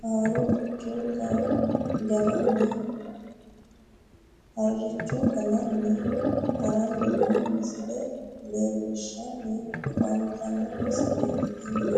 harricho ga'nanni haranni noo misile leellishshanni afantanno misileeti tini yaate